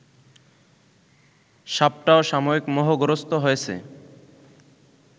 সাপটাও সাময়িক মোহগ্রস্ত হয়েছে